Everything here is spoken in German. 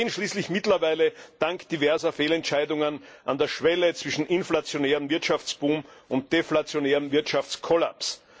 Wir stehen schließlich mittlerweile dank diverser Fehlentscheidungen an der Schwelle zwischen inflationärem Wirtschaftsboom und deflationärem Wirtschaftskollaps.